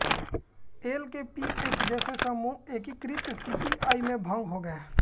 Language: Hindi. एलकेपीएच जैसे समूह एकीकृत सीपीआई में भंग हो गए